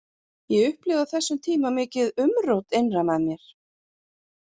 Ég upplifði á þessum tíma mikið umrót innra með mér.